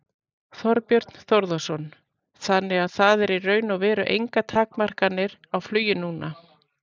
Þorbjörn Þórðarson: Þannig að það eru í raun og veru engar takmarkanir á flugi núna?